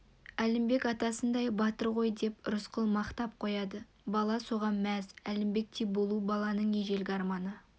әлімбек атасындай батыр ғой деп рысқұл мақтап қояды бала соған мәз әлімбектей болу баланың ежелгі арманы